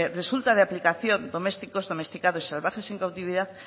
resulta de aplicación domésticos domesticados y salvajes en cautividad